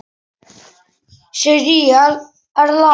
Sirrý Erla.